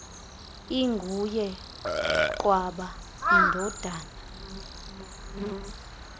inguye qwaba indodana